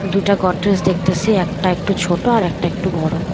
দুইটা গডরেজ দেখতেসি একটা একটু ছোটো আর একটা একটু বড়ো।